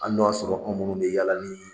Ali n'o y'a sɔrɔ anw minnu bɛ yala ni